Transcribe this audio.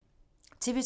TV 2